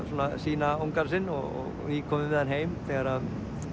sýna sinn og nýkomin með hann heim þegar